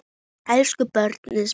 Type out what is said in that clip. Elsku brósi minn.